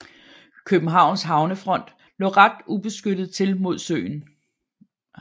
Københavns havnefront lå ret ubeskyttet til mod søen